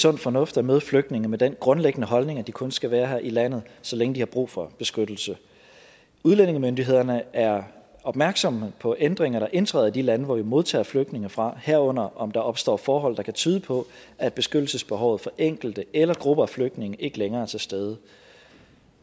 sund fornuft at møde flygtninge med den grundlæggende holdning at de kun skal være her i landet så længe de har brug for beskyttelse udlændingemyndighederne er opmærksomme på ændringer der indtræder i de lande som vi modtager flygtninge fra herunder om der opstår forhold der kan tyde på at beskyttelsesbehovet for enkelte eller grupper af flygtninge ikke længere er til stede